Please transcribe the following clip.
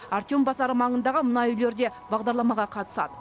артем базары маңындағы мына үйлер де бағдарламаға қатысады